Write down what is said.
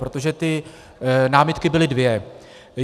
Protože ty námitky byly dvě.